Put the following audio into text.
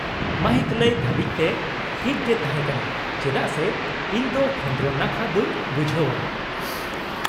-ᱢᱟᱹᱦᱤᱛ ᱞᱟᱹᱭ ᱫᱷᱟᱹᱵᱤᱡᱛᱮ ᱴᱷᱤᱠ ᱜᱮ ᱛᱟᱦᱮᱸᱠᱟᱱᱟ ᱪᱮᱫᱟᱜ ᱥᱮ ᱤᱧᱫᱚ ᱠᱷᱚᱸᱫᱨᱚᱱ ᱱᱟᱠᱷᱟ ᱫᱚᱹᱧ ᱵᱩᱡᱷᱟᱹᱣᱟ ᱾